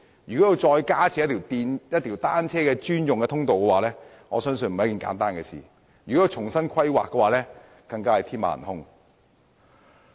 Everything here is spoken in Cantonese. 如要加設單車專用通道，我相信並非一件簡單的事情，而且如要重新規劃，更是天馬行空。